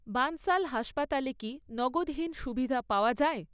বানসল হাসপাতালে কি নগদহীন সুবিধা পাওয়া যায়?